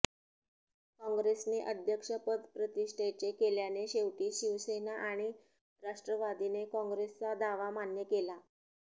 काँग्रेसने अध्यक्षपद प्रतिष्ठेचे केल्याने शेवटी शिवसेना आणि राष्ट्रवादीने काँग्रेसचा दावा मान्य केला